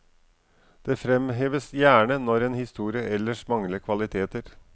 Det fremheves gjerne når en historie ellers mangler kvaliteter.